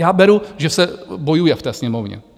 Já beru, že se bojuje v té Sněmovně.